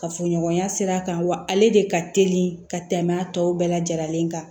Kafoɲɔgɔnya sira kan wa ale de ka teli ka tɛmɛ a tɔ bɛɛ lajɛlen kan